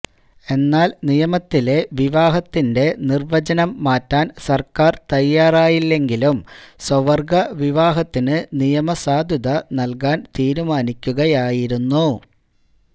എന്നാല് നിയമത്തിലെ വിവാഹത്തിന്റെ നിര്വചനം മാറ്റാന് സര്ക്കാര് തയ്യാറായില്ലെങ്കിലും സ്വവര്ഗ വിവാഹത്തിന് നിയമസാധുത നല്കാന് തീരുമാനിക്കുകയായിരുന്നു